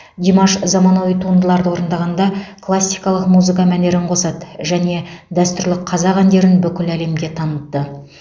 димаш заманауи туындыларды орындағанда классикалық музыка мәнерін қосады және дәстүрлі қазақ әндерін бүкіл әлемге танытты